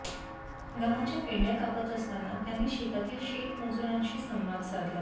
गव्हाच्या पेंढ्या कापत असताना त्यांनी शेतातील शेतमजूरांशी संवाद साधला